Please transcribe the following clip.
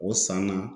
O san na